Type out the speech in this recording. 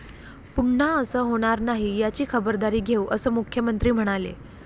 पुन्हा असं होणार नाही याची खबरदारी घेऊ, असं मुख्यमंत्री म्हणाले.